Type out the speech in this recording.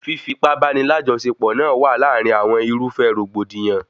Fífi ipá báni lajọsepọ náà wa láàrin àwọn irúfẹ́ rògbòdìyàn